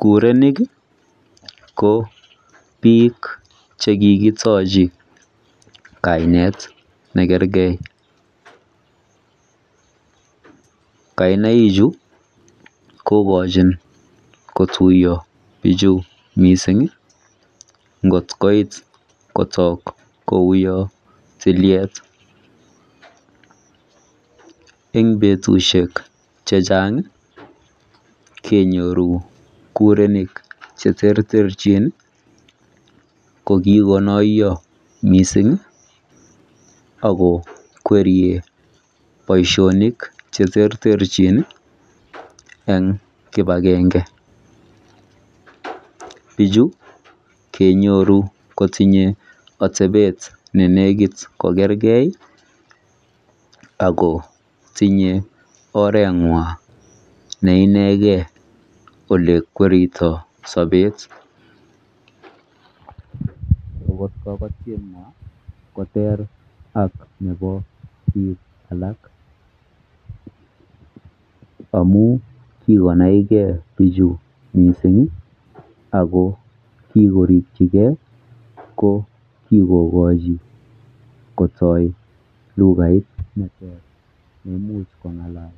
kurenik iih ko biik chekigitochi kaineet negergee, kainaichu kogochin kotuyo bichu mising ngot koit kotoo kouu yoon tilyeet, en betushek chechang iih kenyoru kurenik cheterter chin iih ko kigonoyo mising iih ak kokweryr boishonik cheterter chin iih en kibagenge, biuchu kenyoru kotinye otebeet nenegit kogergee ak kotinye orenywan inegeeen elekweritoo sobeet, kogoteywaan koteer ak nebo biik alak amuun kigonai ak icheget bichu mising iih ago mi koriik chebo kigoigochi kotoo lugait neteer neimuch kongalal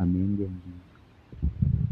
amuun gee